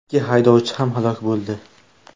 Ikki haydovchi ham halok bo‘ldi.